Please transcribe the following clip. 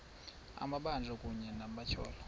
amabanjwa kunye nabatyholwa